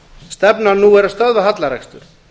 stefnan nú er að stöðva hallarekstur